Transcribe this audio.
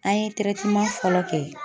An ye fɔlɔ kɛ